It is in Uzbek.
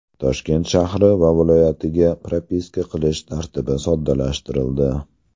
Toshkent shahri va viloyatiga propiska qilish tartibi soddalashtirildi .